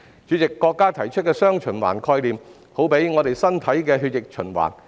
主席，國家提出的"雙循環"，好比我們身體的血液循環。